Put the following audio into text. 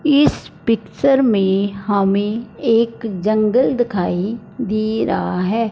इस पिक्चर में हमें एक जंगल दिखाई दे रहा है।